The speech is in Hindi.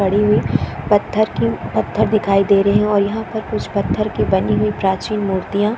पड़ी हुई पत्थर की पत्थर दिखाई दे रहै है और यहाँ पर कुछ पत्थर की बनी हुई प्राचीन मुर्तिया--